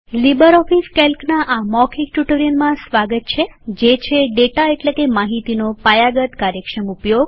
LibreOffice કેલ્કના આ મૌખિક ટ્યુટોરીયલમાં સ્વાગત છે જે છે ડેટા એટલેકે માહિતીનો પાયાગતબેઝીક્સકાર્યક્ષમ ઉપયોગ